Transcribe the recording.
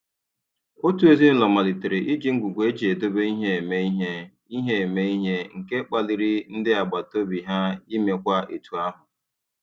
Otu ezinụụlọ malitere iji ngwugwu eji edobe ihe eme ihe, ihe eme ihe, nke kpaliri ndị agbataobi ha imekwa etu ahụ.